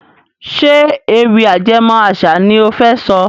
Ṣé ewì ajẹmó àṣà ni ó fẹ́ sọ?